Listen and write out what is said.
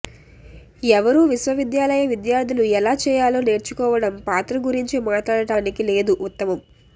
ఎవరూ విశ్వవిద్యాలయ విద్యార్థులు ఎలా చేయాలో నేర్చుకోవడం పాత్ర గురించి మాట్లాడటానికి లేదు ఉత్తమం